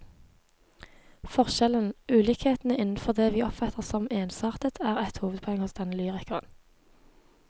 Forskjellen, ulikhetene innenfor det vi oppfatter som ensartet, er et hovedpoeng hos denne lyrikeren.